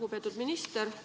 Lugupeetud minister!